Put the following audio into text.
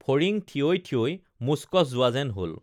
ফৰিং থিয়ৈ থিয়ৈ মুচকচ যোৱা যেন হল